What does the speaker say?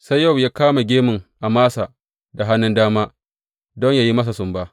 Sai Yowab ya kama gemun Amasa da hannun dama don yă yi masa sumba.